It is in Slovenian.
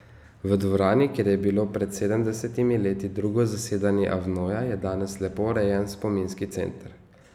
V dvorani, kjer je bilo pred sedemdesetimi leti drugo zasedanje Avnoja, je danes lepo urejen spominski center.